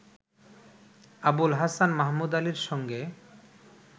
আবুল হাসান মাহমুদ আলীর সঙ্গে